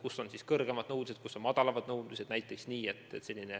Ühtedes on kõrgemad nõuded, teistes madalamad nõudmised.